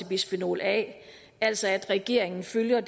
bisfenol a altså at regeringen følger